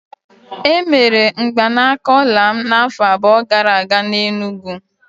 Emere mgbanaka ọla m n'afọ abụọ gara aga n'Enugwu.